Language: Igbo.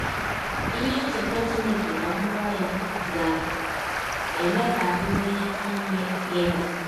Ihe ncheta Chineke na mmụọ ya ga - eme ka anyị nwee ike ime gịnị?